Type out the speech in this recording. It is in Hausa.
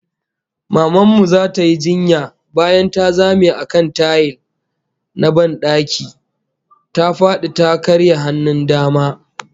Maman mu zata yi jinya, bayan ta zame a kan tayil na ban daki, ta fadi ta karya hannun dama